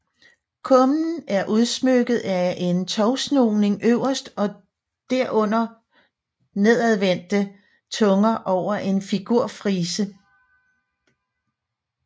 Kummen er udsmykket med en tovsnoning øverst og derunder nedadvendte tunger over en figurfrise